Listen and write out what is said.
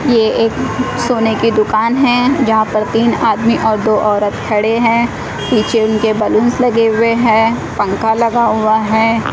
ये एक सोने की दुकान है जहां पर तीन आदमी और दो औरत खड़े हैं। पीछे उनके बलून्स लगे हुए हैं। पंख लगा हुआ है।